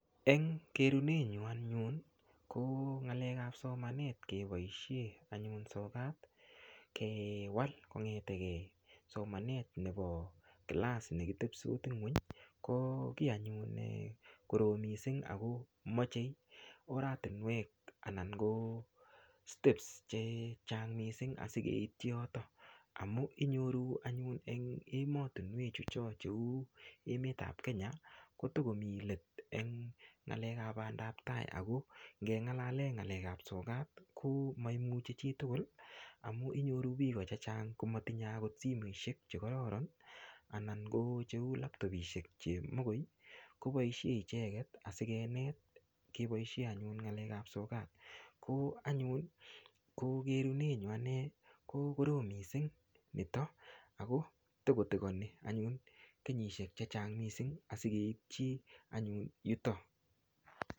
Eng kerune nyu anyun ko ngalek ap somanet keboishe anyun sokat kewal kongeteke somanet nebo kilass nekitepsot ng'weny ko kiy anyun nekorom mising ako mochei oratunwek anan ko steps chechang mising asikeitchi yoto amu inyoru anyun eng ematunwek chu cho chu cheu emet ap Kenya kotokomi let eng ng'alek ap bandaptai ako ngelalee ng'alek ap sokat ko maimuchi chitugul amu inyoru biko che chang komatinyei akot simeshek chekororon anan ko cheu laptopishek che mokoi koboishe icheget asikenet keboishe anyun ng'alek ap sokat ko anyun ko kerunenyu ane ko kororom mising nito ako tikotekoni anyun kenyishek chechang mising asikeitchi anyun yuto.